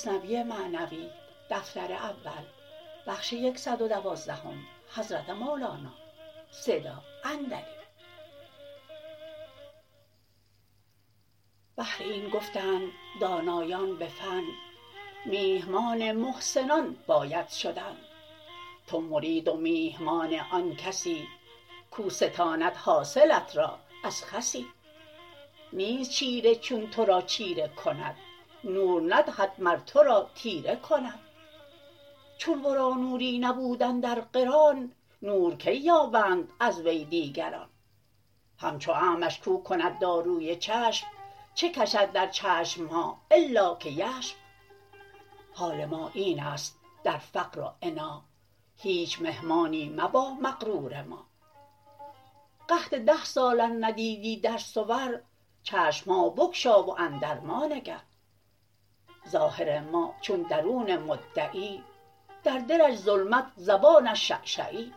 بهر این گفتند دانایان بفن میهمان محسنان باید شدن تو مرید و میهمان آن کسی کو ستاند حاصلت را از خسی نیست چیره چون ترا چیره کند نور ندهد مر ترا تیره کند چون ورا نوری نبود اندر قران نور کی یابند از وی دیگران همچو اعمش کو کند داروی چشم چه کشد در چشمها الا که یشم حال ما اینست در فقر و عنا هیچ مهمانی مبا مغرور ما قحط ده سال ار ندیدی در صور چشمها بگشا و اندر ما نگر ظاهر ما چون درون مدعی در دلش ظلمت زبانش شعشعی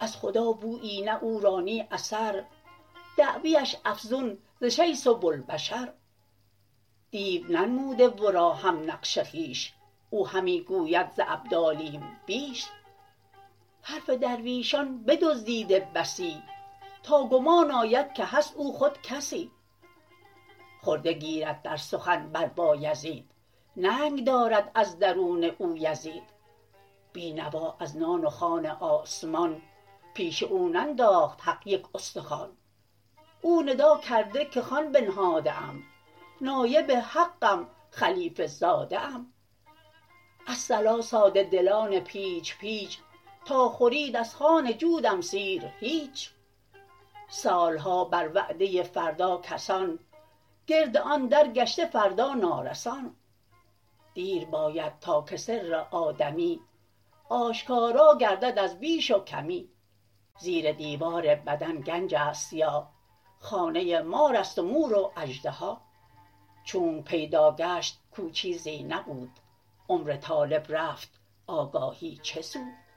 از خدا بویی نه او را نه اثر دعویش افزون ز شیث و بوالبشر دیو ننموده ورا هم نقش خویش او همی گوید ز ابدالیم بیش حرف درویشان بدزدیده بسی تا گمان آید که هست او خود کسی خرده گیرد در سخن بر بایزید ننگ دارد از درون او یزید بی نوا از نان و خوان آسمان پیش او ننداخت حق یک استخوان او ندا کرده که خوان بنهاده ام نایب حقم خلیفه زاده ام الصلا ساده دلان پیچ پیچ تا خورید از خوان جودم سیر هیچ سالها بر وعده فردا کسان گرد آن در گشته فردا نارسان دیر باید تا که سر آدمی آشکارا گردد از بیش و کمی زیر دیوار بدن گنجست یا خانه مارست و مور و اژدها چونک پیدا گشت کو چیزی نبود عمر طالب رفت آگاهی چه سود